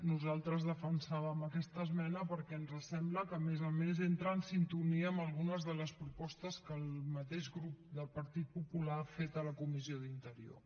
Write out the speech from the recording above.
nosaltres defensàvem aquesta esmena perquè ens sembla que a més a més entra en sintonia amb algunes de les propostes que el mateix grup del partit popular ha fet a la comissió d’interior